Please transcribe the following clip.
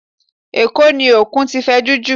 Ẹ̀kó ni Òkun ti fẹjú jù